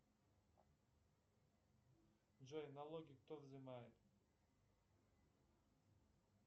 джой налоги кто взымает